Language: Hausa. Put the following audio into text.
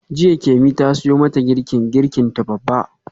Jiya Kemi ta siyo mata girkin girkinta babba.